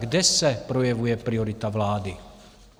Kde se projevuje priorita vlády?